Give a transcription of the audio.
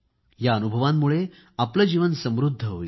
या अनुभवांमुळे आपले जीवन समृद्ध होईल